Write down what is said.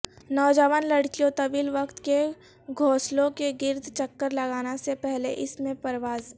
نوجوان لڑکیوں طویل وقت کے گھوںسلوں کے گرد چکر لگانا سے پہلے اس میں پرواز